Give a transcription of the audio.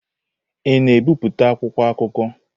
Ị na-ebipụta akwụkwọ akụkọ?